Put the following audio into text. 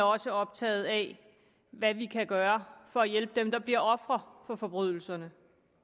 også optaget af hvad vi kan gøre for at hjælpe dem der bliver ofre for forbrydelserne